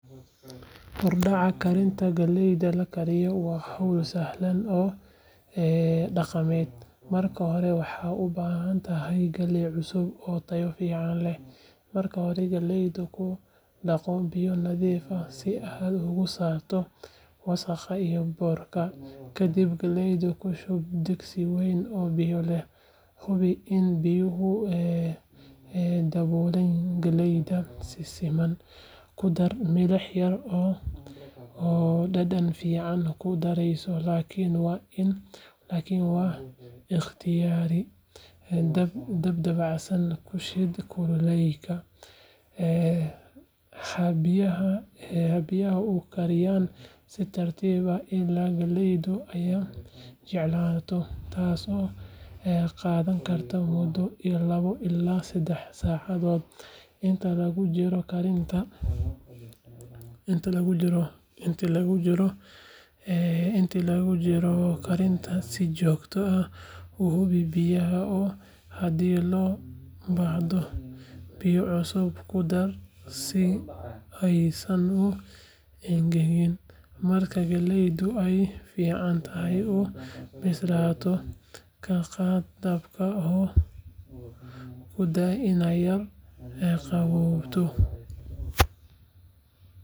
Hordhaca karinta galleyda la kariyo waa hawl sahlan oo dhaqameed, marka hore waxaad u baahan tahay galley cusub oo tayo fiican leh. Marka hore, galleyda ku dhaqo biyo nadiif ah si aad uga saarto wasakhda iyo boorka. Kadib, galleyda ku shub digsi weyn oo biyo leh, hubi in biyuhu daboolaan galleyda si siman. Ku dar milix yar oo dhadhan fiican ku daraysa, laakiin waa ikhtiyaari. Dab dabacsan ku shid kuleylka, ha biyaha u kariyaan si tartiib ah ilaa galleydu ay jilicsanaato, taasoo qaadan karta muddo laba ilaa saddex saacadood. Inta lagu jiro karinta, si joogto ah u hubi biyaha oo haddii loo baahdo, biyo cusub ku dar si aysan u engegin. Marka galleydu ay si fiican u bislaato, ka qaad dabka oo u daa inay yara qaboojiso.